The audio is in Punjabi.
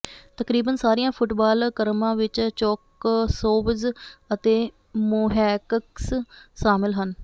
ਤਕਰੀਬਨ ਸਾਰੀਆਂ ਫੁੱਟਬਾਲ ਕ੍ਰਮਾਂ ਵਿਚ ਚੋਕਸੌਵਜ਼ ਅਤੇ ਮੋਹੈਕਕਸ ਸ਼ਾਮਲ ਹਨ